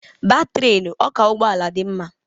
Baa trenu, ọ ka ụgbọala dị ngwa!